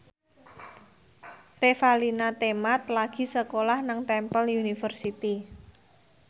Revalina Temat lagi sekolah nang Temple University